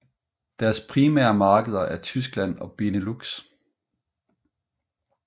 Deres primære markeder er Tyskland og Benelux